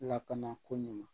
Lakana ko nin ma